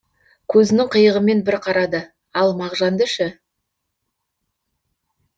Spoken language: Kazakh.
көзінің қиығымен бір қарады да ал мағжанды ше